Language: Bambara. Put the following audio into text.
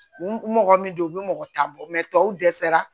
Mɔgɔ min don u bɛ mɔgɔ tan bɔ tɔw dɛsɛra